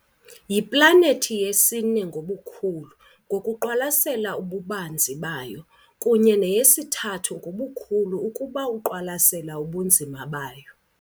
Yiplanethi yesine ngobukhulu, ngokuqwalasela ububanzi bayo, kunye neyesithathu ngobukhulu ukuba iqwalasela ubunzima bayo.